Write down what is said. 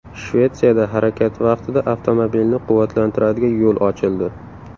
Shvetsiyada harakat vaqtida avtomobilni quvvatlantiradigan yo‘l ochildi .